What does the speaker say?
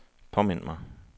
påmind mig